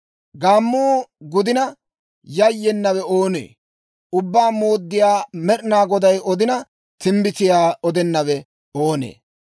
Gaammuu gudina, yayyenawe oonee? Ubbaa Mooddiyaa Med'inaa Goday odina, timbbitiyaa odenawe oonee?